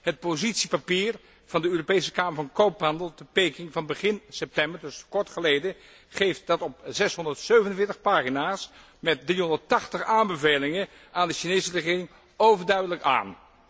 De standpuntnota van de Europese Kamer van Koophandel te Peking van begin september kort geleden dus geeft dat op 647 pagina's met 380 aanbevelingen aan de Chinese regering overduidelijk aan.